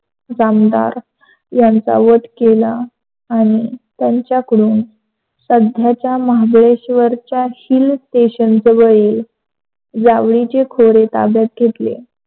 जामदार यांचा वध केला आणि त्याच्या कडून सध्याच्या महाबळेश्वरच्या hill station जवळील जावळीचे खोरे ताब्यात घेतले.